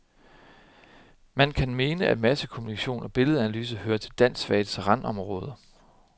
Man kan mene at massekommunikation og billedeanalyse hører til danskfagets randområder.